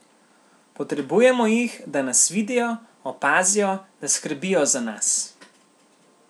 Potrebujemo jih, da nas vidijo, opazijo, da skrbijo za nas.